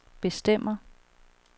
bestemmer